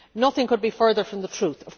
Nothing could be further from the truth.